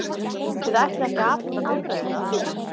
Þið ætlið ekki að afhenda bifreiðina?